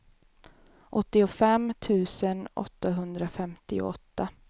åttiofem tusen åttahundrafemtioåtta